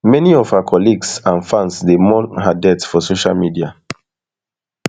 many of her her colleagues and fans dey mourn her death on social media